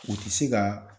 U ti se ka